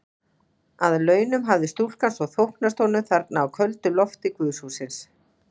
Að launum hafði stúlkan svo þóknast honum þarna á köldu lofti guðshússins.